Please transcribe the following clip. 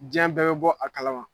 Cɛn bɛɛ bi bɔ a kalama.